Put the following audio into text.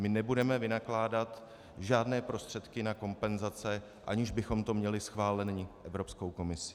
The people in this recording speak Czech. My nebudeme vynakládat žádné prostředky na kompenzace, aniž bychom to měli schváleno Evropskou komisí.